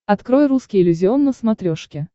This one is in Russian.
открой русский иллюзион на смотрешке